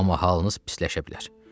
Amma halınız pisləşə bilər.